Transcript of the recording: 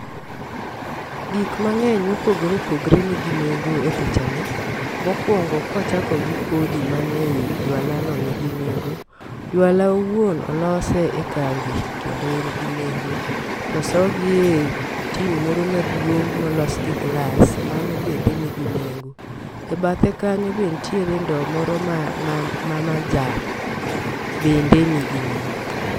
Gik mang'eny mopogore opogre nigi nengo e picha ni. Mokwongo kwachako gi kodhi man e yi jwalo nigi nengo jwala owuon olose e kambi kendo en gi nengo. To osogi e tin moro maduong' molos gi glas, mano bende nigi nengo .E bathe kanyo be ntie ndo moro ma ma ma majan bende nigi nengo.